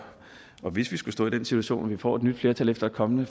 hvis vi skulle stå i den situation at vi får et nyt flertal efter et kommende